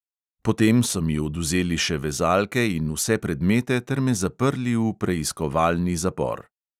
Potem so mi odvzeli še vezalke in vse predmete ter me zaprli v preiskovalni zapor.